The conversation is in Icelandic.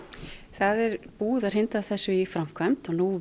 það er búið að hrinda þessu í framkvæmd og nú